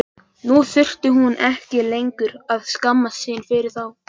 Nú þurfti hún ekki lengur að skammast sín fyrir þá.